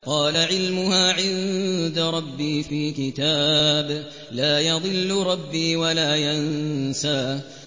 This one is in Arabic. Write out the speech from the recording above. قَالَ عِلْمُهَا عِندَ رَبِّي فِي كِتَابٍ ۖ لَّا يَضِلُّ رَبِّي وَلَا يَنسَى